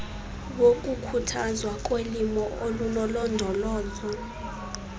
wokukhuthazwa kolimo olunolondolozo